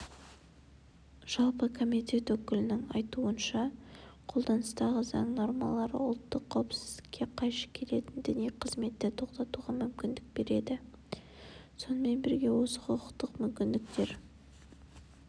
жалпы комитет өкілінің айтуынша қолданыстағы заң нормалары ұлттық қауіпсіздікке қайшы келетін діни қызметті тоқтатуға мүмкіндік береді сонымен бірге осы құқықтық мүмкіндіктер